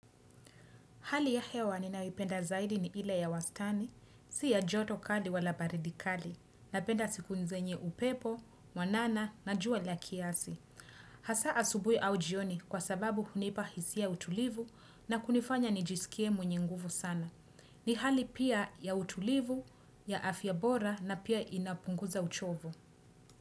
Hali ya hewa ninayoipenda zaidi ni ile ya wastani, si ya joto kali wala baridi kali, napenda siku zenye upepo, mwanana, na jua la kiasi. Hasaa asubuhi au jioni kwa sababu hunipa hisia utulivu na kunifanya nijisikie mwenye nguvu sana. Ni hali pia ya utulivu, ya afya bora na pia inapunguza uchovu.